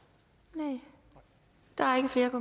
det var